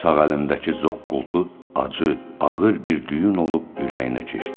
Sağ əlindəki zoqqultu acı, ağır bir düyün olub ürəyinə keçdi.